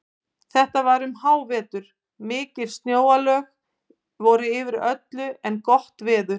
Þetta var um hávetur, mikil snjóalög voru yfir öllu en veður gott.